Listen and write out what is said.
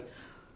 అవును సర్